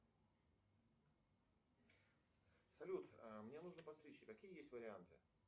салют мне нужно постричься какие есть варианты